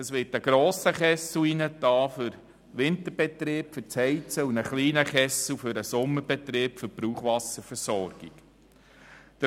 Es wird ein grosser Kessel eingebaut für den Winterbetrieb und ein kleiner Kessel für die Brauchwasserversorgung im Sommerbetrieb.